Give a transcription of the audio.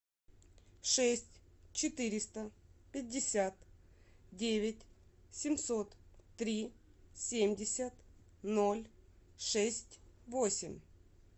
шесть четыреста пятьдесят девять семьсот три семьдесят ноль шесть восемь